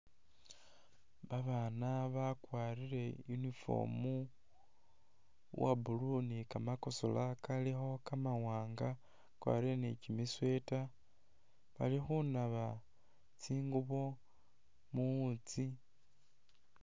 Babaana bakwarile uniform uwa blue ni kamakosola kalikho kamawanga bakwarile ni kyimi'sweater balikhunaba tsingubo muwutsi